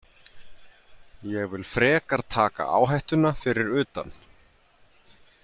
Ég vil frekar taka áhættuna fyrir utan.